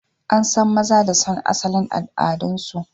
An san maza da son asalin al'adunsu